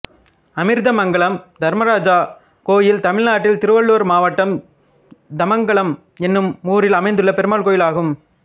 அமிர்தமங்கலம் தர்மராஜா கோயில் தமிழ்நாட்டில் திருவள்ளூர் மாவட்டம் ்தமங்கலம் என்னும் ஊரில் அமைந்துள்ள பெருமாள் கோயிலாகும்